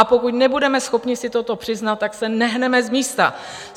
A pokud nebudeme schopni si toto přiznat, tak se nehneme z místa.